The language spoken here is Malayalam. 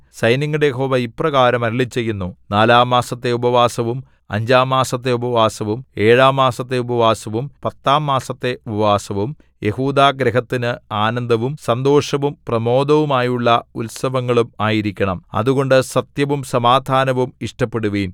സൈന്യങ്ങളുടെ യഹോവ ഇപ്രകാരം അരുളിച്ചെയ്യുന്നു നാലാം മാസത്തെ ഉപവാസവും അഞ്ചാം മാസത്തെ ഉപവാസവും ഏഴാം മാസത്തെ ഉപവാസവും പത്താം മാസത്തെ ഉപവാസവും യെഹൂദാഗൃഹത്തിന് ആനന്ദവും സന്തോഷവും പ്രമോദമായുള്ള ഉത്സവങ്ങളും ആയിരിക്കണം അതുകൊണ്ട് സത്യവും സമാധാനവും ഇഷ്ടപ്പെടുവിൻ